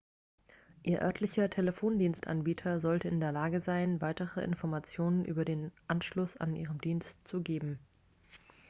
ihr örtlicher telefondienstanbieter sollte in der lage sein weitere informationen über den anschluss an diesen dienst zu geben